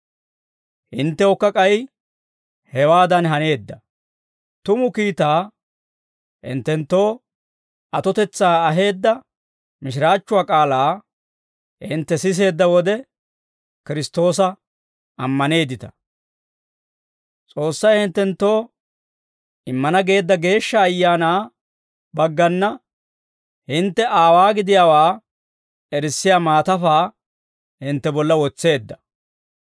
Hinttewukka k'ay hewaadan haneedda; tumu kiitaa, hinttenttoo atotetsaa aheedda mishiraachchuwaa k'aalaa, hintte siseedda wode Kiristtoosa ammaneeddita; S'oossay hinttenttoo immana geedda Geeshsha Ayaanaa baggana, hintte Aawaa gidiyaawaa erissiyaa maatafaa hintte bolla wotseedda.